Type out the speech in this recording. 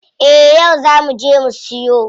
Eh yau zaa muje mu siyo.